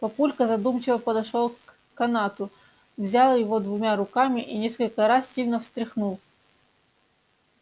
папулька задумчиво подошёл к канату взял его двумя руками и несколько раз сильно встряхнул